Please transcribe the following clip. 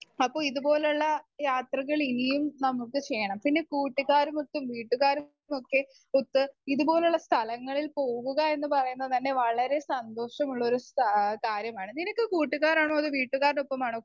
Speaker 1 അപ്പൊ ഇതുപോലുള്ള യാത്രകൾ ഇനിയും നമുക്ക് ചെയ്യണം. പിന്നെ കൂട്ടുകാരുമൊത്തും വീട്ടുകാരുമൊക്കെ ഒത്ത് ഇതുപോലുള്ള സ്ഥലങ്ങളിൽ പോവുക എന്ന് പറയുന്നത് തന്നെ വളരെ സന്തോഷമുള്ളോരു സ് കാര്യമാണ്. നിനക്ക് കൂട്ടുകാരാണോ വീട്ടുകാരുടെയൊപ്പമാണോ